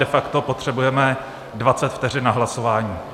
De facto potřebujeme 20 vteřin na hlasování.